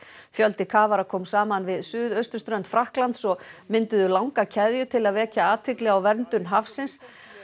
fjöldi kafara kom saman við suðausturströnd Frakklands og mynduðu langa keðju til að vekja athygli á verndun hafsins